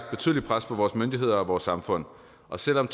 betydeligt pres på vores myndigheder og vores samfund og selv om